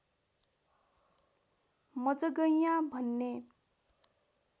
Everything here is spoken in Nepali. मजगैयाँ भन्ने